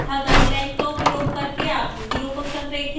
guideline का उपयोग करके आकृतियों को संरेखित करना